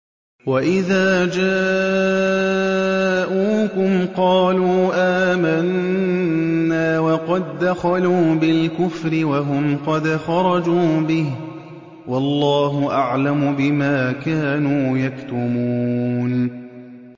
وَإِذَا جَاءُوكُمْ قَالُوا آمَنَّا وَقَد دَّخَلُوا بِالْكُفْرِ وَهُمْ قَدْ خَرَجُوا بِهِ ۚ وَاللَّهُ أَعْلَمُ بِمَا كَانُوا يَكْتُمُونَ